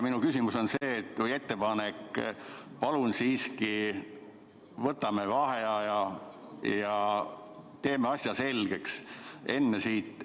Minu küsimus või pigem ettepanek on see: palun võtame siiski vaheaja ja teeme asja selgeks!